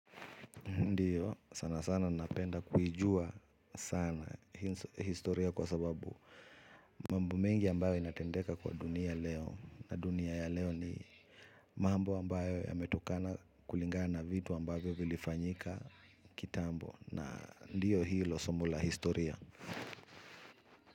Ndiyo sana sana napenda kuijua sana historia kwa sababu mambo mengi ambayo inatendeka kwa dunia leo na dunia ya leo ni mambo ambayo yametokana kulingana vitu ambayo vilifanyika kitambo na ndiyo hilo somo la historia.